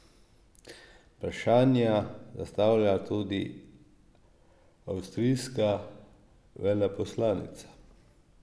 Vprašanja zastavlja tudi avstrijska veleposlanica.